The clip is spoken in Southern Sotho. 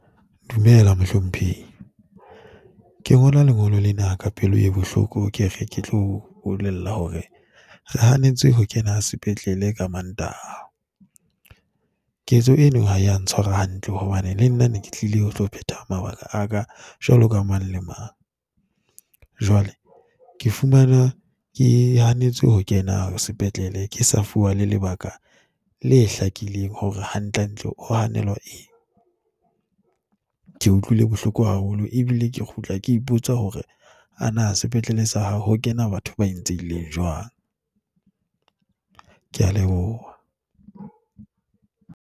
Dumela, mohlomphehi. Ke ngola lengolo lena ka pelo e bohloko ke re ke tlo o bolella hore re hanetswe ho kena sepetlele ka Mantaha. Ketso eno ha ya ntshwara hantle hobane le nna ne ke tlile ho tlo phetha mabaka a ka jwaloka mang le mang. Jwale ke fumana ke hanetswe ho kena sepetlele, ke sa fuwa lebaka le hlakileng hore hantlentle ho hanelwa eng. Ke utlwile bohloko haholo ebile ke kgutla ke ipotsa hore ana sepetlele sa hao ho kena batho ba entseileng jwang. Ke a leboha.